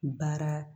Baara